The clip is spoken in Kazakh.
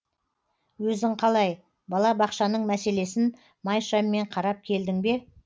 өзің қалай бала бақшаның мәселесін май шаммен қарап келдің бе